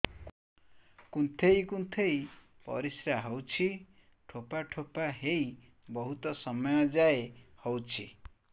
କୁନ୍ଥେଇ କୁନ୍ଥେଇ ପରିଶ୍ରା ହଉଛି ଠୋପା ଠୋପା ହେଇ ବହୁତ ସମୟ ଯାଏ ହଉଛି